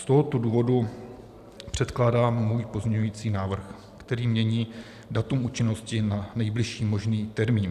Z tohoto důvodu předkládám svůj pozměňující návrh, který mění datum účinnosti na nejbližší možný termín.